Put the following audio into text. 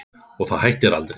Og það hættir aldrei.